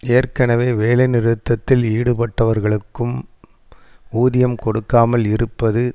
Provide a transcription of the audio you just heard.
ஏற்கனவே வேலைநிறுத்தத்தில் ஈடுபட்டவர்களுக்கும் ஊதியம் கொடுக்காமல் இருப்பது